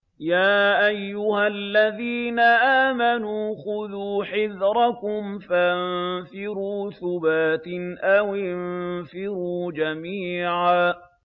يَا أَيُّهَا الَّذِينَ آمَنُوا خُذُوا حِذْرَكُمْ فَانفِرُوا ثُبَاتٍ أَوِ انفِرُوا جَمِيعًا